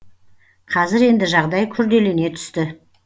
қазір енді жағдай күрделене түсті